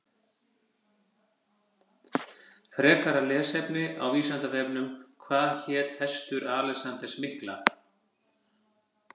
Frekara lesefni á Vísindavefnum Hvað hét hestur Alexanders mikla?